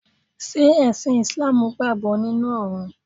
Ṣé ẹ̀sìn ìsláàmù gbàgbọ́ nínu Ọ̀run